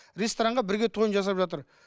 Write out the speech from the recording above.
ресторанға бірге тойын жасап жатыр